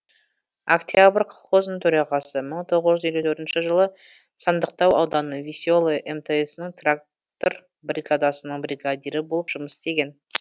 октябрь колхозының төрағасы мың тоғыз жүз елу төртінші жылы сандықтау ауданы веселое мтс ның трактор бригадасының бригадирі болып жұмыс істеген